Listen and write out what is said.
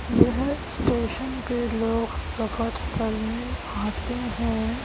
यह स्टेशन पे लोग करने आते हैं।